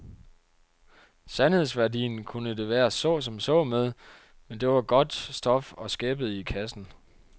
Sandhedsværdien kunne det være så som så med, men det var godt stof og skæppede i kassen.